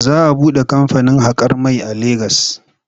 Za a buɗe kamfanin haƙar mai a Legas.